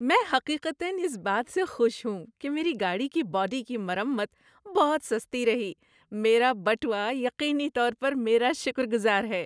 میں حقیقتاً اس بات سے خوش ہوں کہ میری گاڑی کی باڈی کی مرمت بہت سستی رہی؛ میرا بٹوا یقینی طور پر میرا شکرگزار ہے!